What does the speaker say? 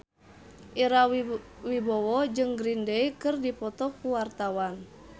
Ira Wibowo jeung Green Day keur dipoto ku wartawan